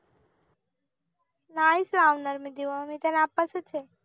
नाहीच लावणार मी दीव मी नापास च आहे